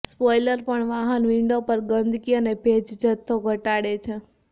spoiler પણ વાહન window પર ગંદકી અને ભેજ જથ્થો ઘટાડે છે